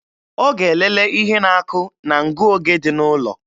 Ọ ga-elele ihe na-akụ na ngụoge dị n'ụlọ